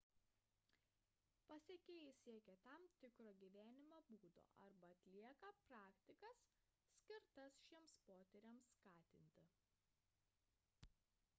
pasekėjai siekia tam tikro gyvenimo būdo arba atlieka praktikas skirtas šiems potyriams skatinti